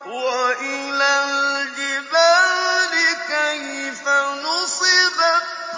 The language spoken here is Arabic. وَإِلَى الْجِبَالِ كَيْفَ نُصِبَتْ